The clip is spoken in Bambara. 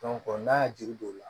n'a ye juru don o la